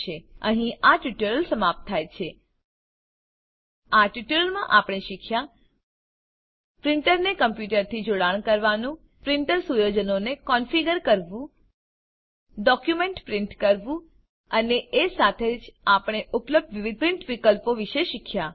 અહીં આ ટ્યુટોરીયલ સમાપ્ત થાય છે આ ટ્યુટોરીયલમાં આપણે શીખ્યા પ્રીંટરને કમ્પ્યુટરથી જોડાણ કરવું પ્રીંટર સુયોજનોને કોનફીગર કરવું ડોક્યુંમેંટ પ્રીંટ કરવું અને એ સાથે જ આપણે ઉપલબ્ધ વિવિધ પ્રીંટ વિકલ્પો વિશે શીખ્યા